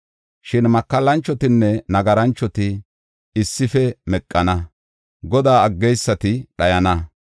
Shin makallanchotinne nagaranchoti issife meqana; Godaa aggeysati dhayana.